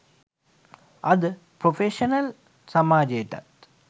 අද ප්‍රොෆෙෂනල් සමාජයටත්